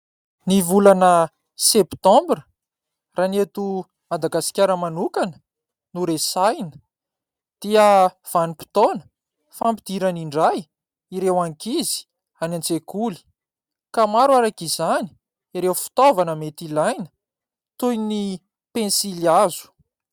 Ny volana Septambra raha ny eto Madagasikara manokana no resahina dia vanim-potoana fampidirana indray ireo ankizy any an-tsekoly ka maro arak'izany ireo fitaovana mety ilaina toy ny pensily hazo.